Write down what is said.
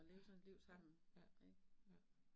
Ja, ja ja ja